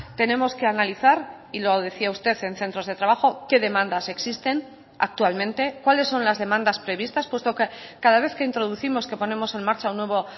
tenemos que analizar y lo decía usted en centros de trabajo qué demandas existen actualmente cuáles son las demandas previstas puesto que cada vez que introducimos que ponemos en marcha un nuevo